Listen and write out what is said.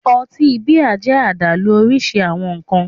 Ọtí bíà jẹ́ àdálù òrìṣirìṣi awọn nkan